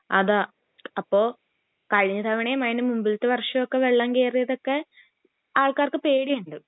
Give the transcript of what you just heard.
അതാ അപ്പൊ കഴിഞ്ഞ തവണയും അതിൻ്റെ മുമ്പിൽത്തെ വർഷവും വെള്ളം കേറിയതൊക്കെ ആള്കാർക്ക് പേടിയുണ്ട്